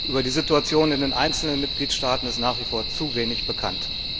Über die Situation in den einzelnen Mitgliedstaaten ist nach wie vor zu wenig bekannt.